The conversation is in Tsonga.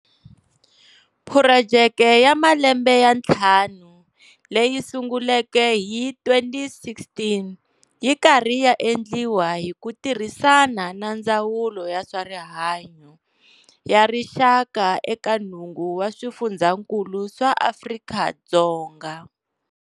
Phurojeke ya malembe ya ntlhanu leyi sunguleke hi 2016 yi karhi ya endliwa hi ku tirhisana na Ndzawulo ya swarihanyo ya Rixaka eka nhungu wa swifundzankulu swa Afrika-Dzonga.